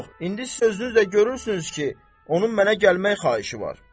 Söz yox, indi sözünüzlə görürsünüz ki, onun mənə gəlmək xahişi var.